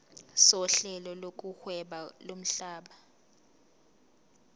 sohlelo lokuhweba lomhlaba